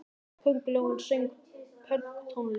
Köngulóin söng pönktónlist!